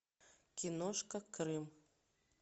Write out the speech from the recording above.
киношка крым